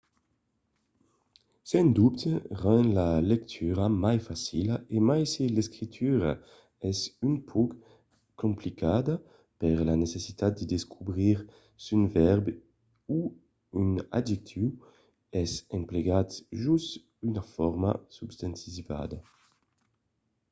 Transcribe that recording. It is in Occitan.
sens dobte rend la lectura mai facila e mai se l'escritura es un pauc complicada per la necessitat de descobrir s’un vèrb o un adjectiu es emplegat jos una forma substantivizada